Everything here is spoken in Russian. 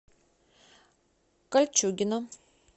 кольчугино